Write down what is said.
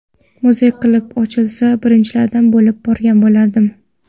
Muzey qilib ochilsa, birinchilardan bo‘lib borgan bo‘lardim.